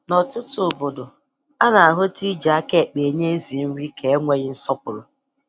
N'ọtụtụ obodo, a na-ahụta iji aka ekpe enye ezi nri ka enweghị nsọpụrụ